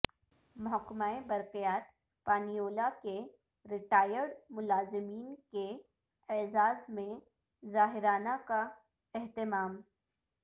محکمہ برقیات پانیولہ کےر یٹائر ڈملازمین کے اعزاز میں ظہرانہ کا اہتمام